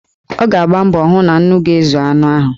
Ọ ga-agba mbọ hụ na nnu ga-ezu anụ ahụ.